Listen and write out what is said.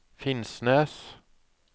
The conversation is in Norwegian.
Finnsnes